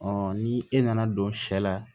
ni e nana don sɛ la